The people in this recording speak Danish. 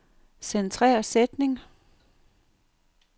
Centrer sætning.